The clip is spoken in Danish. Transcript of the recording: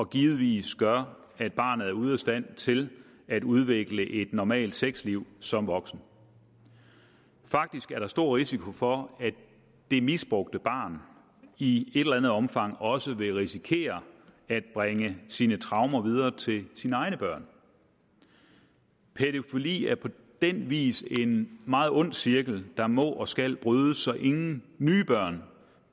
givetvis gør at barnet er ude af stand til at udvikle et normalt sexliv som voksen faktisk er der stor risiko for at det misbrugte barn i et eller andet omfang også vil risikere at bringe sine traumer videre til sine egne børn pædofili er på den vis en meget ond cirkel der må og skal brydes så ingen nye børn